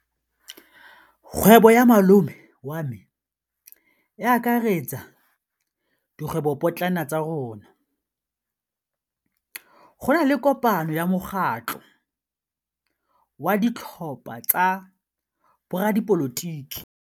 Kgwêbô ya malome wa me e akaretsa dikgwêbôpotlana tsa rona. Go na le kopanô ya mokgatlhô wa ditlhopha tsa boradipolotiki.